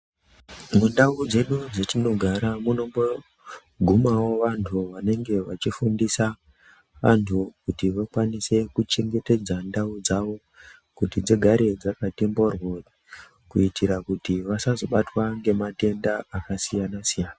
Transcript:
Mundau dzedu matinogara munogumawo vantu vachifundisa vantu kuti vakwanise kuchengetedza ndau dzawo kuti dzigare dzakati mboryo kuitira kuti vasazobatwa nematenda akasiyana siyana.